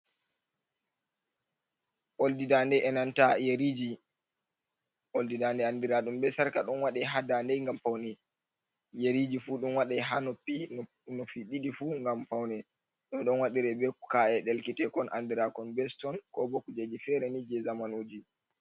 Oldi dande enanta yeriji, oldi dande andira ɗum be sarka ɗon waɗe ha dande ngam paune, yeriji fu ɗon waɗe ha noppi nopp ɗiɗi fu ngam paune ɗum ɗon waɗire be ka’e ɗelkitekon andirakon be ston kobo kujeji fere ni je zamanuji.